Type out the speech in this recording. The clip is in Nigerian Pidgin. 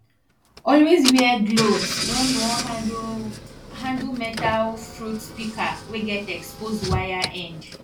always wear gloves when you wan handle handle metal fruit pika wey get exposed wire end